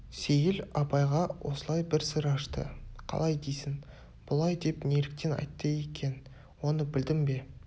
сейіл абайға осылай бір сыр ашты қалай дейсің бұлай деп неліктен айтты екен оны білдің бе